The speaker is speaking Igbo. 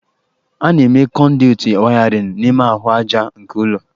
A na-eme kọnduitị wayarịn n'ime ahụ aja nke ụlọ